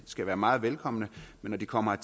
skal være meget velkomne men når de kommer